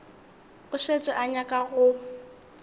o šetše o nyaka go